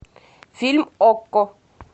фильм окко